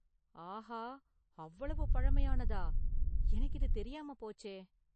ஆஹா, அவ்வளவு பழமையானதா? எனக்கு இது தெரியாம போச்சே!